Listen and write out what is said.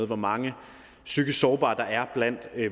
hvor mange psykisk sårbare der er blandt